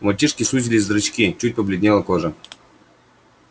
у мальчишки сузились зрачки чуть побледнела кожа